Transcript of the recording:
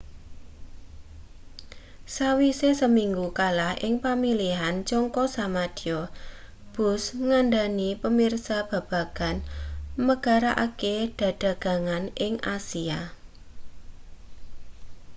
sawise seminggu kalah ing pamilihan jangka samadya bush ngandhani pamirsa babagan megarake dedagangan ing asia